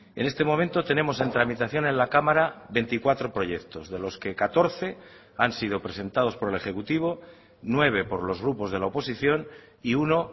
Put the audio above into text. en este momento tenemos en tramitación en la cámara veinticuatro proyectos de los que catorce han sido presentados por el ejecutivo nueve por los grupos de la oposición y uno